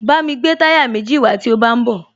Bámi gbé táyà méjì wàá tí o bá ń bọ̀